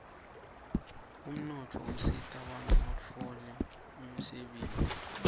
umnotfo usitabantfu batfole umsebenti